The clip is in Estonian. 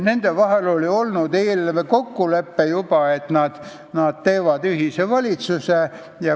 Nende vahel oli olnud juba eelnev kokkulepe, et nad teevad ühise valitsuse.